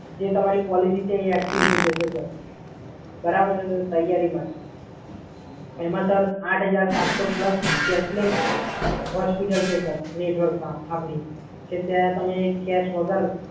જે તમારી પોલિસી જે છે એ એક્ટિવ થઈ જશે, સર. બરાબર છે સર? તૈયારીમાં જ. એમાં સર આઠ હજાર સાતસો પ્લસ કેશલેસ હોસ્પિટલ છે સર. નેટવર્કમાં આપડી કે ત્યાં તમે કેશ વગર